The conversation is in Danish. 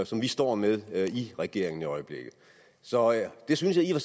som vi står med i regeringen i øjeblikket så jeg synes i og